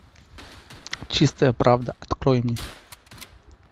чистая правда открой мне